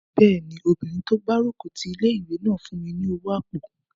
Bẹ́ẹ̀ni, obìnrin tó gbárùkù ti ilé-ìwé náà fún mi ní owó àpò